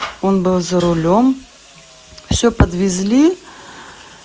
он был за рулём всё подвезли